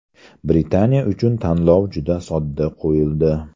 Britaniya uchun tanlov juda sodda qo‘yildi.